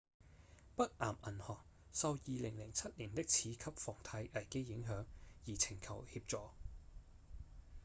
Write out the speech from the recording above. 北岩銀行受2007年的次級房貸危機影響而請求協助